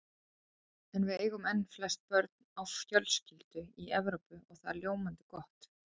En við eigum enn flest börn á fjölskyldu í Evrópu og það er ljómandi gott.